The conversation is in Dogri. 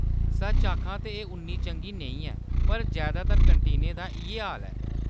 सच्च आखां तां एह्‌‌ उन्नी चंगी नेईं ऐ, पर जैदातर कैंटीनें दा इʼयै हाल ऐ।